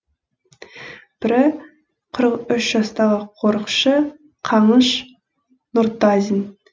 бірі қырық үш жастағы қорықшы қаныш нұртазин